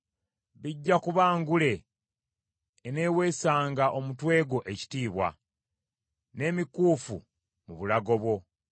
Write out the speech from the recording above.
bijja kuba ngule eneeweesanga omutwe gwo ekitiibwa, n’emikuufu mu bulago bwo.